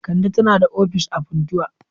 Kande tana da ofis a Funtua.